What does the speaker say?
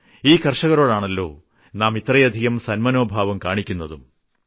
ഈ കർഷകരോടാണല്ലോ നാം ഇത്രയധികം സന്മനോഭാവം കാണിക്കുന്നതും